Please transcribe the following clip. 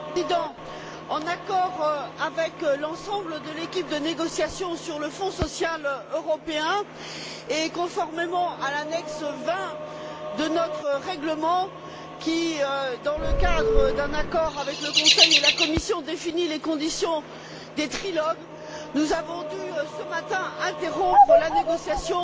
Monsieur le Président, en accord avec l'ensemble de l'équipe de négociation sur le Fonds social européen, et conformément à l'annexe XX de notre règlement qui, dans le cadre d'un accord avec le Conseil et la Commission, définit les conditions des trilogues, nous avons dû, ce matin, interrompre la négociation